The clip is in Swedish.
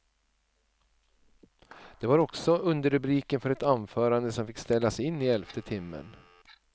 Det var också underrubriken för ett anförande som fick ställas in i elfte timmen.